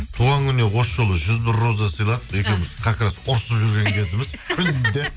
туған күніне осы жылы жүз бір роза сыйладық екеуіміз как раз ұрысып жүрген кезіміз күнде